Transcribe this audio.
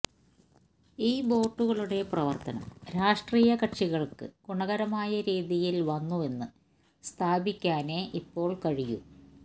ഈ ബോട്ടുകളുടെ പ്രവർത്തനം രാഷ്ട്രീയ കക്ഷികൾക്ക് ഗുണകരമായ രീതിയിൽ വന്നുവെന്ന് സ്ഥാപിക്കാനേ ഇപ്പോൾ കഴിയൂ